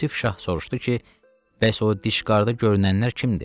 Yusif şah soruşdu ki, bəs o diş qarda görünənlər kimdir?